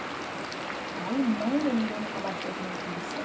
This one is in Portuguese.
Aí mãe nem ninguém nunca mais teve notícia.